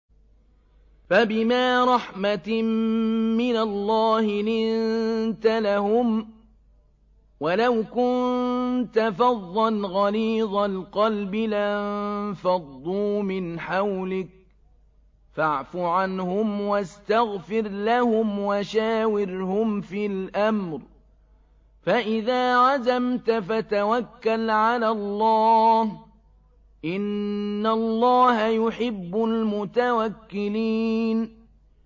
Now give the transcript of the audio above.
فَبِمَا رَحْمَةٍ مِّنَ اللَّهِ لِنتَ لَهُمْ ۖ وَلَوْ كُنتَ فَظًّا غَلِيظَ الْقَلْبِ لَانفَضُّوا مِنْ حَوْلِكَ ۖ فَاعْفُ عَنْهُمْ وَاسْتَغْفِرْ لَهُمْ وَشَاوِرْهُمْ فِي الْأَمْرِ ۖ فَإِذَا عَزَمْتَ فَتَوَكَّلْ عَلَى اللَّهِ ۚ إِنَّ اللَّهَ يُحِبُّ الْمُتَوَكِّلِينَ